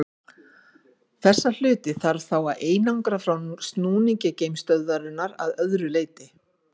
Þessa hluti þarf þá að einangra frá snúningi geimstöðvarinnar að öðru leyti.